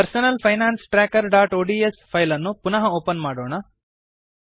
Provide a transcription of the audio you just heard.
personal finance trackerಒಡಿಎಸ್ file ಅನ್ನು ಪುನಃ ಓಪನ್ ಮಾಡೋಣ